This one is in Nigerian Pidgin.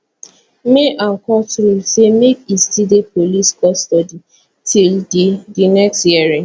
may and court rule say make e still dey police custody till di di next hearing